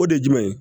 O de ye jumɛn ye